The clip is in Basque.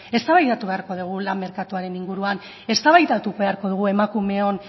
eztabaidatu beharko dugun lan merkatuaren inguruan eztabaidatu behako dugu emakumeon